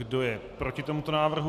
Kdo je proti tomuto návrhu?